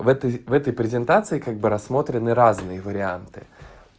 в этой в этой презентации как бы рассмотрены разные варианты